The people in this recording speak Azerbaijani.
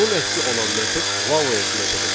Bunun əksi olan metod, values metodudur.